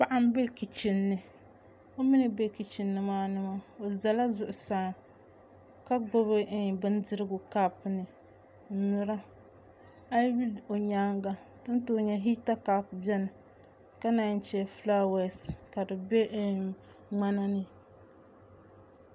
Paɣa n bɛ kichin ni o ʒɛla zuɣusaa ka gbubi bindirigu kaap ni n nyura ayi lihi o nyaanga hita kaap biɛni ka naan chɛ fulaawaasi ka di bɛ ŋmana ni